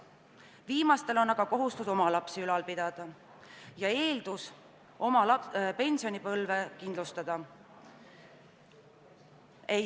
Viimastel on aga kohustus omaenda lapsi ülal pidada ja nii ei saa nad oma pensionipõlve kindlustada.